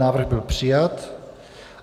Návrh byl přijat.